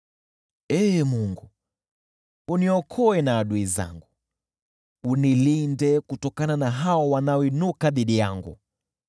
Ee Mungu, uniokoe na adui zangu, unilinde kutokana na hao wanaoinuka dhidi yangu.